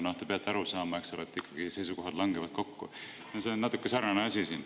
Te peate aru saama, eks ole, et ikkagi seisukohad langevad kokku, ja see on natuke sarnane asi siin.